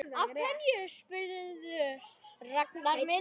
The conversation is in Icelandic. Af hverju spyrðu, Ragnar minn?